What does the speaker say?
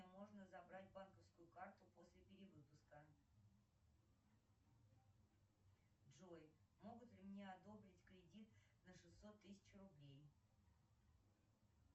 можно забрать банковскую карту после перевыпуска джой могут ли мне одобрить кредит на шестьсот тысяч рублей